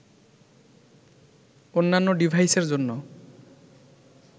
অন্যান্য ডিভাইসের জন্য